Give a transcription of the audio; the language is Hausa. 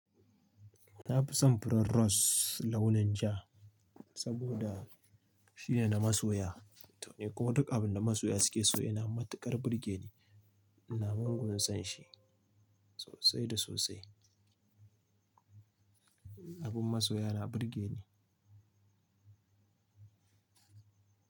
Na fi son furen rose launin ja saboda shine na masoya. Toh n, kuma duka abin da masoya suke so yana matuƙar burge ni. Ina mugun son shi sosai da sosai. Abin masoya na burge ni.